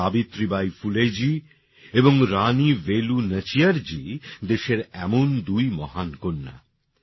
সাবিত্রী বাঈ ফুলেজী এবং রানী বেলু নাচিয়ারজী দেশের এমনই দুই মহান কন্যা